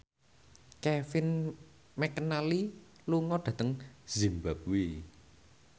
Kevin McNally lunga dhateng zimbabwe